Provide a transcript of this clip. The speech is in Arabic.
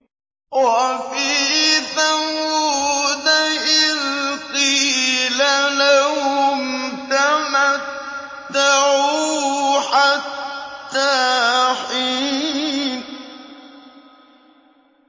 وَفِي ثَمُودَ إِذْ قِيلَ لَهُمْ تَمَتَّعُوا حَتَّىٰ حِينٍ